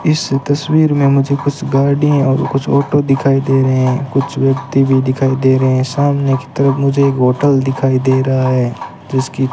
इस तस्वीर में मुझे कुछ गाड़ियां और कुछ ऑटो दिखाई दे रहे हैं कुछ व्यक्ति भी दिखाई दे रहे हैं सामने की तरफ मुझे एक होटल दिखाई दे रहा है जिसकी --